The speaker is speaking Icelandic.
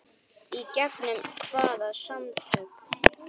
Í gegnum hvaða samtök?